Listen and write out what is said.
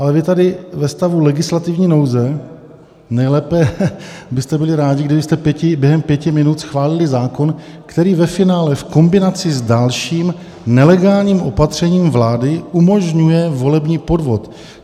Ale vy tady ve stavu legislativní nouze nejlépe byste byli rádi, kdybyste během pěti minut schválili zákon, který ve finále v kombinaci s dalším nelegálním opatřením vlád umožňuje volební podvod.